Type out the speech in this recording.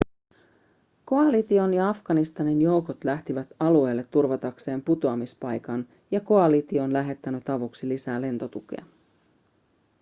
koalition ja afganistanin joukot lähtivät alueelle turvatakseen putoamispaikan ja koalitio on lähettänyt avuksi lisää lentotukea